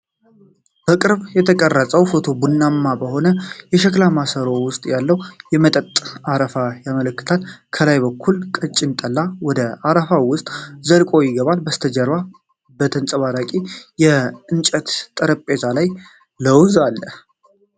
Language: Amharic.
በቅርብ የተቀረጸው ፎቶ ቡናማ በሆነ የሸክላ ማሰሮ ውስጥ ያለ መጠጥ አረፋ ያመለክታል። ከላይ በኩል ቀጭን ጠላ ወደ አረፋው ውስጥ ዘልቆ ይገባል። ከበስተጀርባ በተንጸባራቂ የእንጨት ጠረጴዛ ላይ ለውዝ አለ።